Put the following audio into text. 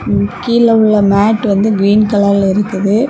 கீழ உள்ள மேட்ல வந்து கிறீன் கலர்ல இருக்குது.